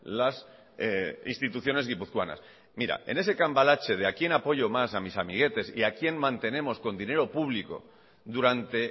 las instituciones guipuzcoanas mira en ese cambalache de a quién apoyo más a mis amiguetes y a quién mantenemos con dinero público durante